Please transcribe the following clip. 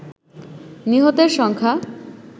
নিহতের সংখ্যা